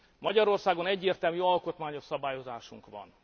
Magyarországon egyértelmű alkotmányos szabályozásunk van.